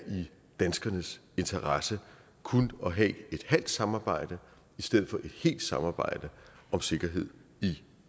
danskernes interesse kun at have et halvt samarbejde i stedet for et helt samarbejde om sikkerhed i